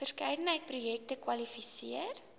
verskeidenheid projekte kwalifiseer